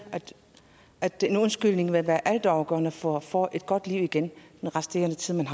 at en undskyldning vil være altafgørende for at få et godt liv i den resterende tid